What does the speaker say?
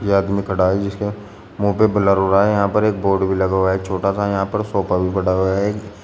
ये आदमी खड़ा है जिसके मुंह पे ब्लर हो रहा है यहां पर एक बोर्ड भी लगा हुआ है छोटा सा यहां पर सोफा भी पड़ा हुआ है।